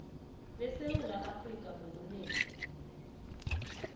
besewula afrika ngobunengi